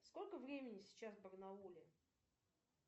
сколько времени сейчас в барнауле